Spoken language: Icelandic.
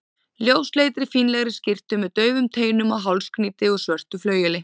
ljósleitri, fínlegri skyrtu með daufum teinum og hálsknýti úr svörtu flaueli.